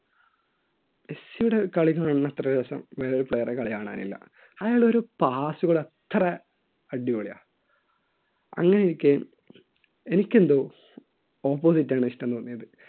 മെസ്സിയുടെ കളി കാണുന്ന അത്ര രസം വേറൊരു player റുടെ കളി കാണാനില്ല അയാൾ ഒരു pass കൾ അത്ര അടിപൊളിയാ അങ്ങനെയിരിക്കെ എനിക്ക് എന്തോ opposite ആണ് ഇഷ്ടം തോന്നിയത്.